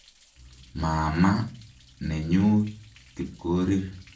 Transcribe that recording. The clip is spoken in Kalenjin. Maama nenyu Kipkorir.